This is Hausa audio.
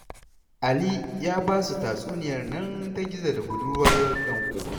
Ali ya ba su tatsuniyar nan ta gizo da budurwar danƙo